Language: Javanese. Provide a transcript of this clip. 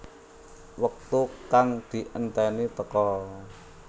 Wektu kang dienteni teka